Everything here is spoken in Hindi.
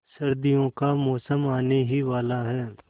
सर्दियों का मौसम आने ही वाला है